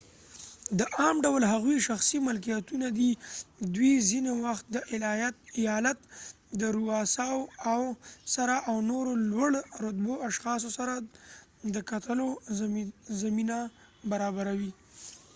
د عام ډول هغوي شخصی ملکېتونه دي ،دوي څینی وخت د ایالت د رووساو سره او نورو لوړ رتبه اشخاصو سره د کتلو زمینه برابروي